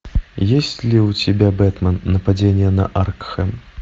есть ли у тебя бэтмен нападение на аркхэм